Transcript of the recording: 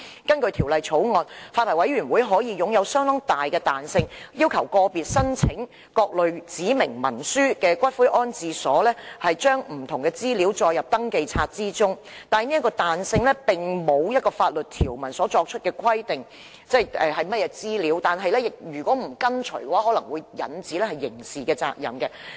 根據《條例草案》，私營骨灰安置所發牌委員會擁有相當大的彈性，可要求個別申請各類指明文書的骨灰安置所將不同資料載入登記冊，但這彈性並不受法律條文所規限，即並無法律條文就有關資料作出規定，以訂明違反條文可招致刑事責任。